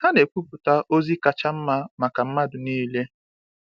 Ha na-ekwupụta ozi kacha mma maka mmadụ niile.